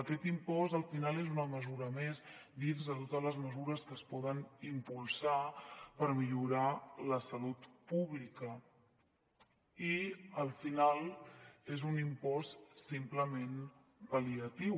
aquest impost al final és una mesura més dins de totes les mesures que es poden impulsar per millorar la salut pública i al final és un impost simplement pal·liatiu